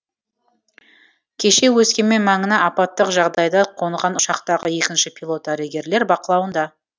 кеше өскемен маңына апаттық жағдайда қонған ұшақтағы екінші пилот дәрігерлер бақылауында